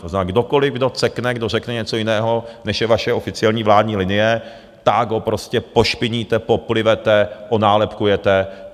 To znamená, kdokoliv, kdo cekne, kdo řekne něco jiného, než je vaše oficiální vládní linie, tak ho prostě pošpiníte, poplivete, onálepkujete.